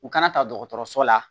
U kana ta dɔgɔtɔrɔso la